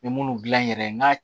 N bɛ munnu dilan n yɛrɛ ye n ka